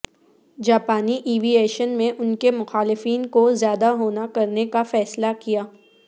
جاپانی aviation میں ان کے مخالفین کو زیادہ ہونا کرنے کا فیصلہ کیا